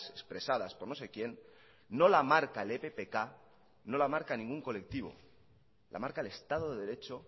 expresadas por no sé quién no la marca el eppk no la marca ningún colectivo la marca el estado de derecho